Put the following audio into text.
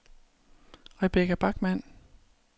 Rebekka Bachmann